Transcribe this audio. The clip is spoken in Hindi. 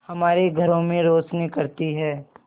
हमारे घरों में रोशनी करती है